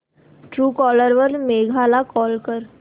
Truecaller वर मेघा ला call कर